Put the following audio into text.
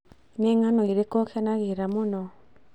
Nĩ ngano ĩrĩkũ ũkenagĩra mũno?